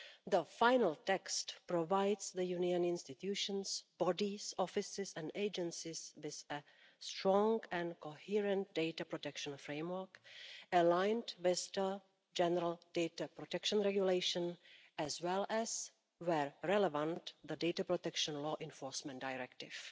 The final text provides the Union institutions, bodies, offices and agencies with a strong and coherent data protection framework aligned with the General Data Protection Regulation, as well as, where relevant, the Data Protection Law Enforcement Directive.